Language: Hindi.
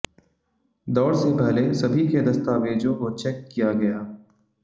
दौड़ से पहले सभी के दस्तावेजों को चेक किया गया